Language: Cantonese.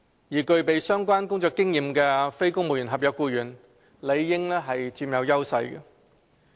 而具備相關工作經驗的非公務員合約僱員，理應佔有優勢。